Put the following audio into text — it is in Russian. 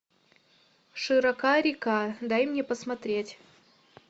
широка река дай мне посмотреть